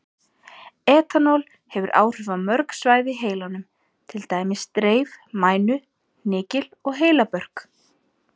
Etanól hefur áhrif á mörg svæði í heilanum, til dæmis dreif, mænu, hnykil og heilabörk.